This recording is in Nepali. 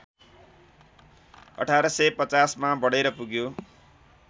१८५० मा बढेर पुग्यो